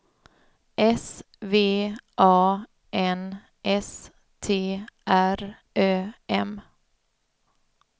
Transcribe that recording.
S V A N S T R Ö M